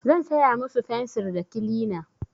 Zan saya musu fensir da kilina.